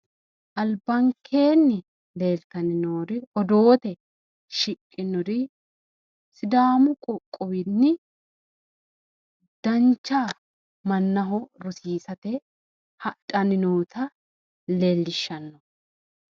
Albankeenni leeltanni noori odoote shiqinori sidaamu qoqqowinni dancha mannaho rosiisate hadhanni noota leellishanno